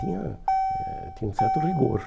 Tinha eh tinha um certo rigor.